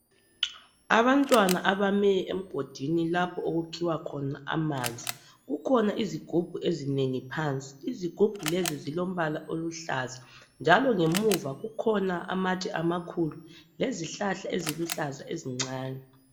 Abantwana abami emgodini lapho okukhiwa khona amanzi. Kukhona izigubhu ezinengi phansi ezilombala oluhlaza njalo ngemuva kukhona amatshe amakhulu lezihlahla eziluhlaza ezincane.